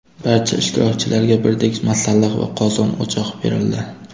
Barcha ishtirokchilarga birdek masalliq va qozon-o‘choq berildi.